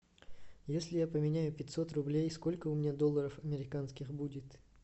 если я поменяю пятьсот рублей сколько у меня долларов американских будет